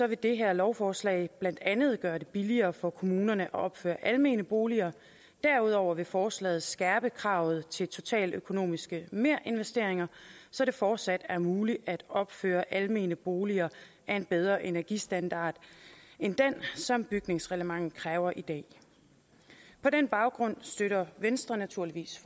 vil det her lovforslag blandt andet gøre det billigere for kommunerne at opføre almene boliger derudover vil forslaget skærpe kravet til totaløkonomiske merinvesteringer så det fortsat er muligt at opføre almene boliger af en bedre energistandard end den som bygningsreglementet kræver i dag på den baggrund støtter venstre naturligvis